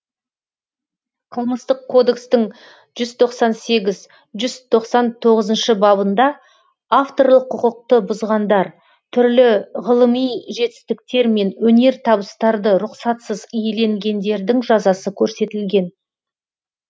қылмыстық кодекстің жүз тоқсан сегіз жүз тоқсан тоғызыншы бабында авторлық құқықты бұзғандар түрлі ғылыми жетістіктер мен өнертабыстарды рұқсатсыз иеленгендердің жазасы көрсетілген